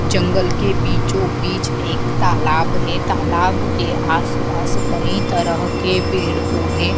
जंगल के बीचो बीच एक तालाब है तालाब के आसपास कई तरह के पेड़ पौधे--